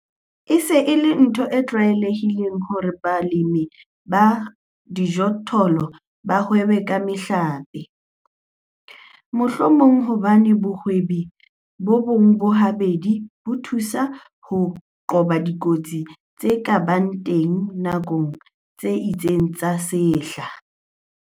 E se e le ntho e tlwaelehileng hore balemi ba dijothollo ba hwebe ka mehlape, mohlomong hobane bohwebi bona bo habedi bo thusa ho qoba dikotsi tse ka bang teng nakong tse itseng tsa sehla.